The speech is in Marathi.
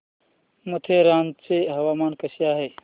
माथेरान चं हवामान कसं आहे